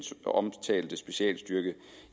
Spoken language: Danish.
omtalte specialstyrke